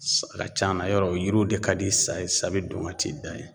Sa, a ka can a na yɔrɔ o yiriw de ka di sa ye, sa bɛ don ka t'i da yen